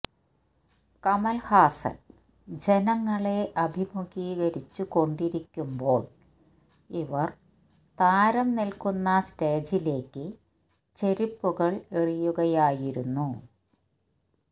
കമൽഹാസന് ജനങ്ങളെ അഭിമുഖീകരിച്ചു കൊണ്ടിരിക്കുന്പോൾ ഇവർ താരം നിൽക്കുന്ന സ്റ്റേജിലേക്ക് ചെരിപ്പുകൾ എറിയുകയായിരുന്നു